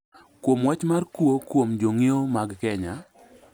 kuom wach mar kuo kuom jonyiewo mag Kenya